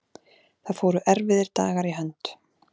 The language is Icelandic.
Það fóru erfiðir dagar í hönd.